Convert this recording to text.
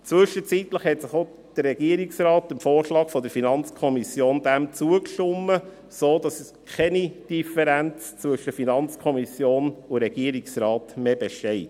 Zwischenzeitlich hat auch der Regierungsrat dem Vorschlag der FiKo zugestimmt, sodass keine Differenz zwischen FiKo und Regierungsrat mehr besteht.